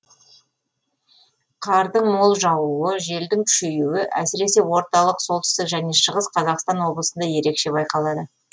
қардың мол жаууы желдің күшейуі әсіресе орталық солтүстік және шығыс қазақстан облысында ерекше байқалады